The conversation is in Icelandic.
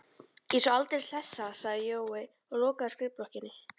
Ég er svo aldeilis hlessa, sagði Jói og lokaði skrifblokkinni.